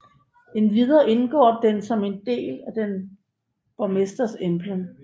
Endvidere indgår den som en del af en borgmesters emblem